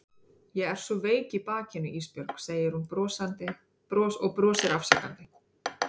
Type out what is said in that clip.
Ég er svo veik í bakinu Ísbjörg, segir hún og brosir afsakandi.